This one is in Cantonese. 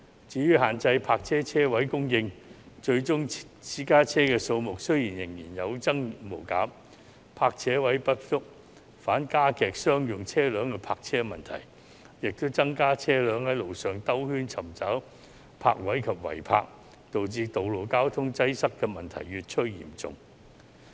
至於限制泊車位供應，最終私家車數目仍然有增無減，泊車位不足，反而加劇商用車輛的泊車問題，亦增加車輛在路上繞圈尋找泊位及違泊，導致道路交通擠塞的問題越趨嚴重。